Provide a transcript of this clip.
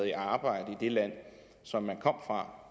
i arbejde i det land som man kom fra